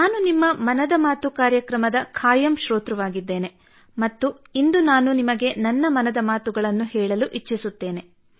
ನಾನು ನಿಮ್ಮ ಮನದ ಮಾತು ಕಾರ್ಯಕ್ರಮದ ಖಾಯಂ ಶ್ರೋತೃವಾಗಿದ್ದೇನೆ ಮತ್ತು ಇಂದು ನಾನು ನಿಮಗೆ ನನ್ನ ಮನದ ಮಾತುಗಳನ್ನು ಹೇಳಲು ಇಚ್ಚಿಸುತ್ತೇನೆ